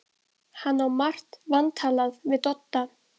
Hann á margt vantalað við Dodda.